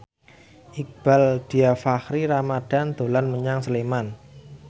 Iqbaal Dhiafakhri Ramadhan dolan menyang Sleman